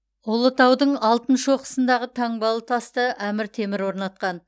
ұлытаудың алтын шоқысындағы таңбалы тасты әмір темір орнатқан